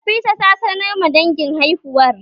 Nafisa ta sanar ma dangin haihuwar